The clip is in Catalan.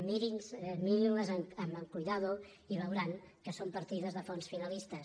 mirin·les amb cura i veuran que són partides de fons finalistes